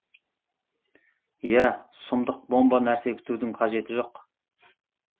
иә сұмдық бомба нәрсе күтудің қажеті жоқ